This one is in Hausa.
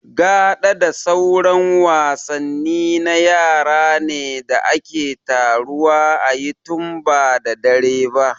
Gaɗa da sauran wasanni na yara ne da ake taruwa a yi tun ba da dare ba